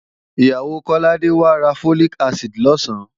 Ìyàwó Kọ́ládé wá ra Folic acid lọ̀sán